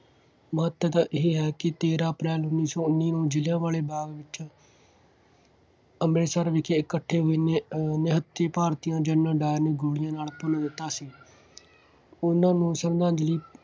ਮਹੱਤਤਾ ਇਹ ਹੈ ਕਿ ਤੇਰਾਂ ਅਪ੍ਰੈਲ ਉੱਨੀ ਸੌ ਉੱਨੀ ਨੂੰ ਜ਼ਲ੍ਹਿਆ ਵਾਲੇ ਬਾਗ ਵਿੱਚ ਅੰਮ੍ਰਿਤਸਰ ਵਿਖੇ ਇਕੱਠੇ ਅਹ ਨਿਹੱਥੇ ਭਾਰਤੀਆਂ ਜਨਰਲ ਡਾਇਰ ਨੇ ਗੋਲੀ ਨਾਲ ਭੁੰਨ ਦਿੱਤਾ ਸੀ। ਉਹਨਾ ਨੂੰ ਸਰਧਾਂਜ਼ਲੀ